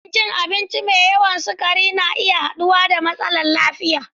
Rashin rashin cin abinci mai yawan sukari na iya haɗawa da matsalolin lafiya.